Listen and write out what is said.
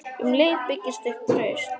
Um leið byggist upp traust.